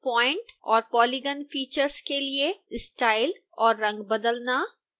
point और polygon features के लिए स्टाइल और रंग बदलना